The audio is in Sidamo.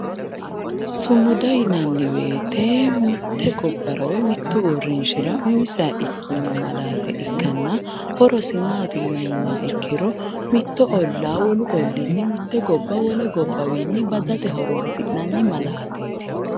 sumuda yinanni wote mitte gobbara woyi mitte uurrinshara umiseha ikkino malaate ikkanna horosi maati yinummoha ikkiro mitto ollaa wolu olliinni mitte gobba wole gobbawiinni badate horonsi'nanni malaateeti.